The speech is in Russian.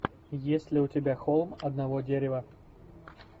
есть ли у тебя холм одного дерева